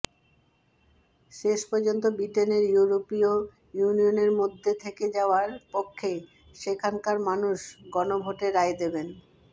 শেষ পর্যন্ত ব্রিটেনের ইউইরোপীয় ইউনিয়নের মধ্যে থেকে যাওয়ার পক্ষেই সেখানকার মানুষ গণভোটে রায় দেবেন